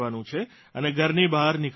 અને ઘરની બહાર નીકળવાનું નથી